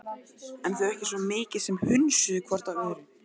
En þau ekki svo mikið sem hnusuðu hvort af öðru.